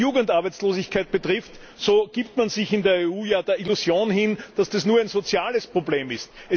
Was die Jugendarbeitslosigkeit betrifft, so gibt man sich in der EU ja der Illusion hin, dass das nur ein soziales Problem sei.